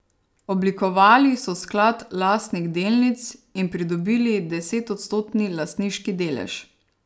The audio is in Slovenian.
Oblikovali so sklad lastnih delnic in pridobili desetodstotni lastniški delež.